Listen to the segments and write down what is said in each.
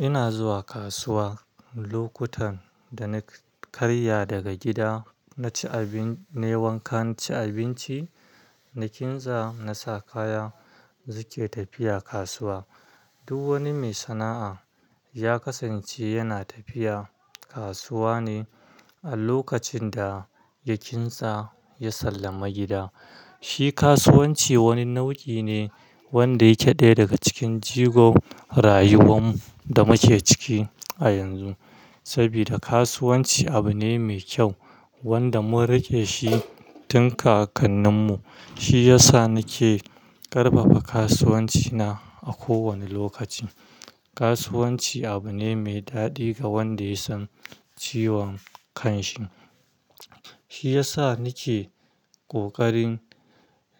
Ina zuwa kasuwa lokutan da na karya daga gida na ci abin, na wanka na ci abinci, na kintsa, na sa kaya, suke tafiya kasuwa. Duk wani mai sana'a ya kasance yana tafiya kasuwa ne a lokacin da ya kintsa ya sallama gida. Shi kasuwanci wani nau'i ne wanda yake ɗaya daga cikin jigo rayuwan da muke ciki a yanzu. Sabida kasuwanci abu ne mai kyau wanda mun riƙe shi tun kakanninmu. Shi yasa nake ƙarfafa kasuwancina a kowane lokaci. Kasuwanci abu ne mai daɗi ga wanda ya san ciwon kanshi. Shi yasa nake ƙoƙarin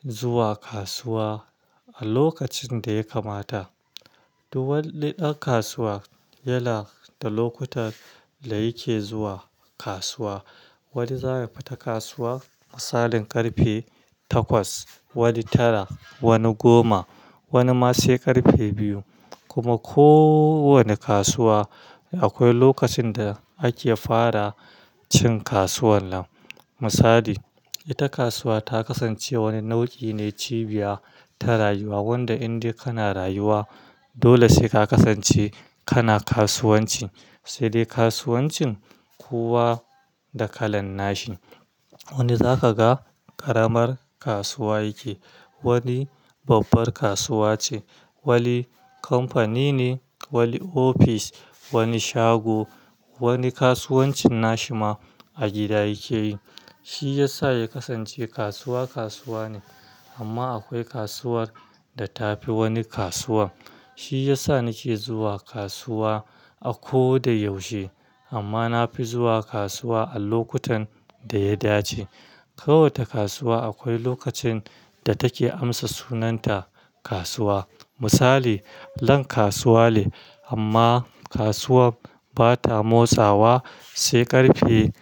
zuwa kasuwa a lokacin da ya kamata. Duk wani ɗan kasuwa yana da lokutan da yake zuwa kasuwa. Wani za ya fita kasuwa a misalin ƙarfe takwas, wani tara, wani goma, wani ma sai ƙarfe biyu. Kuma ko wane kasuwa akwai lokacin da ake fara cin kasuwan nan. Misali, ita kasuwa ta kasance wani nau'i ne cibiya ta rayuwa wanda inda kana rayuwa dole sai ka kasance kana kasuwanci. Sai dai kasuwancin kowa da kalan nashi. Wani zaka ga ƙaramar kasuwa yake, wani babbar kasuwa ce, wani kamfani ne, wani ofis, wani shago, wani kasuwancin nashi ma a gida yake yi. Shi yasa ya kasance kasuwa kasuwa ne amma akwai kasuwar da ta fi wani kasuwa. Shi yasa nake zuwa kasuwa a ko da yaushe amma na fi zuwa kasuwa a lokutan da ya dace. Kowace kasuwa akwai lokacin da take amsa sunanta kasuwa. Misali, lan kasuwa ne amma kasuwar ba ta motsawa sai ƙarfe,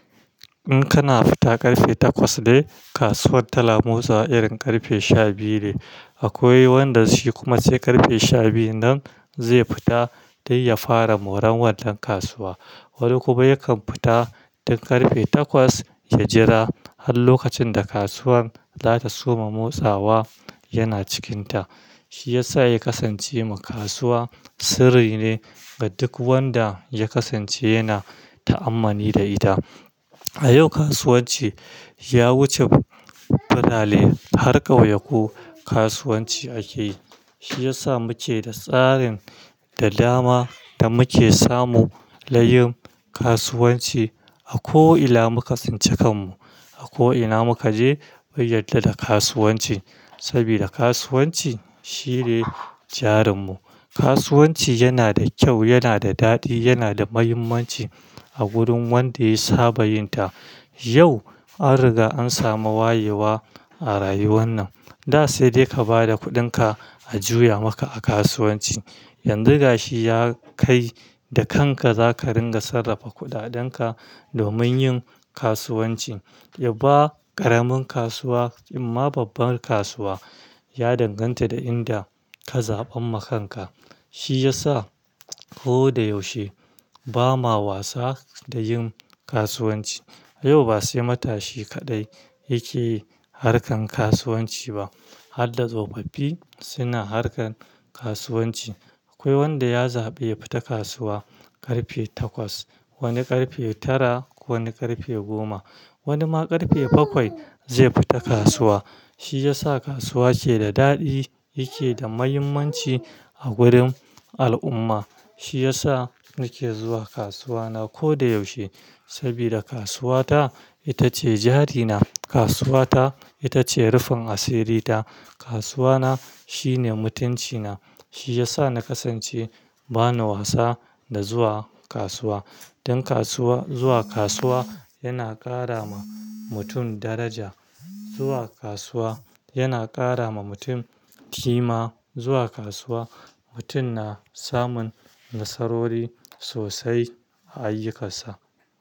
in kana fita ƙarfe takwas dai, kasuwar ta na motsawa irin ƙarfe sha biyu ne. Akwai wanda shi kuma sai ƙarfe sha biyu nan zai fita dan ya fara moran wannan kasuwa. Wani kuma yakan fita tun ƙarfe takwas ya jira har lokacin da kasuwar za ta soma motsawa yana cikinta. Shi yasa ya kasance ma kasuwa sirri ne ga duk wanda ya kasance yana ta'ammali da ita. A yau kasuwanci ya wuce Birane har ƙauyaku kasuwanci ake yi. Shi yasa muke da tsarin da dama da muke samu nayin kasuwanci a ko ina muka since kanmu, a ko ina muka je mun yarda da kasuwanci sabida kasuwanci shine jarinmu. Kasuwanci yana da kyau, yana da daɗi, yana da muhimmanci a gurin wanda ya saba yinta. Yau an riga an samu wayewa a rayuwan nan. Da sai dai ka ba da kuɗinka a juya maka a kasuwanci. Yanzu gashi ya kai da kanka za ka ringa sarrafa kuɗaɗenka domin yin kasuwanci. Yaba ƙaramin kasuwa inma babbar kasuwa ya danganta da inda ka zaɓan ma kanka. Shi yasa ko da yaushe ba ma wasa da yin kasuwanci. Yau ba sai matashi kaɗai yake harkan kasuwanci ba har da tsofaffi suna harkan kasuwanci. Akwai wanda ya zaɓi ya fita kasuwa ƙarfe takwas, wani ƙarfe tara, wani ƙarfe goma, wani ma ƙarfe bakwai zai fita kasuwa. Shi yasa kasuwa ke da daɗi, yake da muhimmanci a gurin al'umma. Shi yasa nake zuwa kasuwana ko da yaushe sabida kasuwata ita ce jari na, kasuwata ita ce rufin asiri ta, kasuwana shine mutanci na. Shi yasa na kasance bana wasa da zuwa kasuwa. Dan kasuwa zuwa kasuwa yana ƙara ma mutum daraja. Zuwa kasuwa yana ƙara ma mutum ƙima. Zuwa kasuwa mutum na samun nasarori sosai a ayyukansa.